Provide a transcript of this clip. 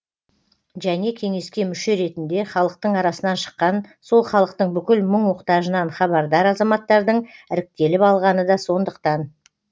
және кеңеске мүше ретінде халықтың арасынан шыққан сол халықтың бүкіл мұң мұқтажынан хабардар азаматтардың іріктеліп алғаны да сондықтан